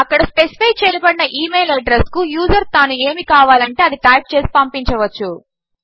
అక్కడ స్పేసిఫై చేయబడిన ఈ మెయిల్ అడ్రస్ కు యూజర్ తాను ఏమి కావాలంటే అది టైప్ చేసే పంపించవచ్చు